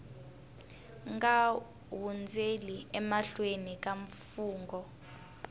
nga hundzeli emahlweni ka mfungho